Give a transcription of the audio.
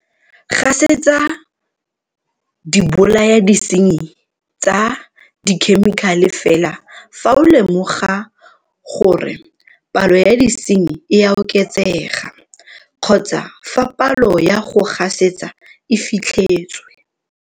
Gasetsa dibolayadisenyi tsa dikhemikale fela fa o lemoga gore palo ya disenyi e a oketsega kgotsa fa palo ya go gasetsa e fitlhetswe.